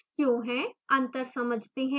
अंतर समझते हैं